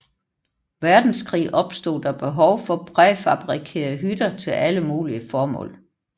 Verdenskrig opstod der behov for præfabrikerede hytter til alle mulige formål